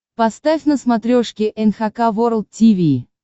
поставь на смотрешке эн эйч кей волд ти ви